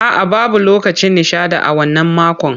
A'a, babu lokacin nishaɗi a wannan makon.